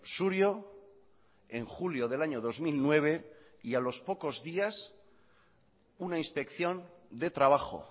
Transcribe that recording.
surio en julio del año dos mil nueve y a los pocos días una inspección de trabajo